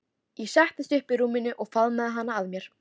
Ég settist upp í rúminu og faðmaði hana að mér.